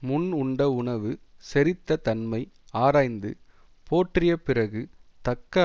முன் உண்ட உணவு செரித்த தன்மை ஆராய்ந்து போற்றியப் பிறகு தக்க